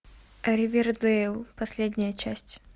ривердейл последняя часть